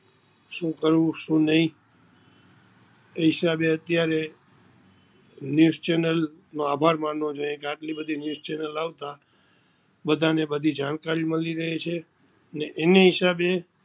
શું કરવું શું નહીં એ હિસાબે આપણે news channel નો આભાર માનવો જોઈએ આટલી બધી news channel આવતા બધા ને બધી જાણકારી મળી રહે છે અને એને હિસાબે